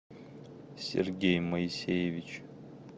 сергей моисеевич